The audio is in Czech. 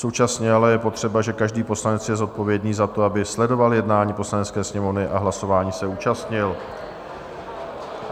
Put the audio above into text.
Současně ale je potřeba, že každý poslanec je zodpovědný za to, aby sledoval jednání Poslanecké sněmovny a hlasování se účastnil.